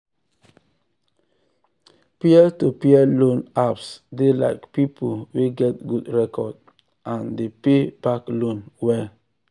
sarah think am well before she borrow her colleague borrow her colleague five hundred dollars without interest but with agreement.